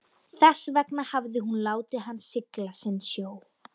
Þess vegna hafði hún látið hann sigla sinn sjó.